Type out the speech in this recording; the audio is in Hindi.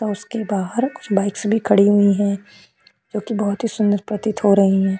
और उसके बाहर कुछ बाइक्स भी खड़ी हुई हैं जो कि बहुत ही सुंदर प्रतीत हो रही हैं।